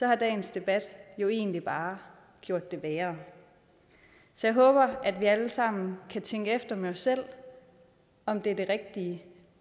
har dagens debat jo egentlig bare gjort det værre så jeg håber at vi alle sammen kan tænke efter med os selv om det er det rigtige